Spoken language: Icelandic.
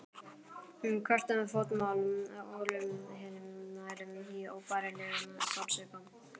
Hvert fótmál olli henni nærri óbærilegum sársauka.